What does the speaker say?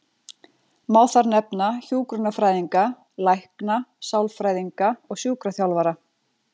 Má þar nefna hjúkrunarfræðinga, lækna, sálfræðinga og sjúkraþjálfara.